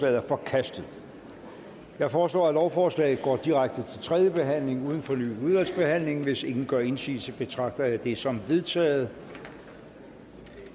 er forkastet jeg foreslår at lovforslaget går direkte til tredje behandling uden fornyet udvalgsbehandling hvis ingen gør indsigelse betragter jeg det som vedtaget